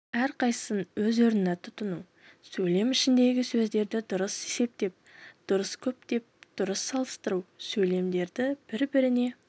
әрқайсысын өз орынына тұтыну сөйлем ішіндегі сөзді дұрыс септеп дұрыс көптеп дұрыс салыстыру сөйлемдерді бір-біріне